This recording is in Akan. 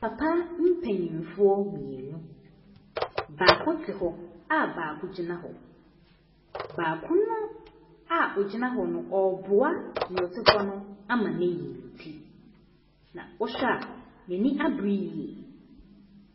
Papa mpanimfoɔ mmienu. Baako te hɔ a baako gyina hɔ. Baako no ara a ogyina hɔ no ɔreboa nea ɔte hɔ no ama no ayi ne ti. Na wohwɛ a, n'ano abere yie.